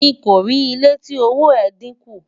mí kò rí ilé tí òwò é dín kún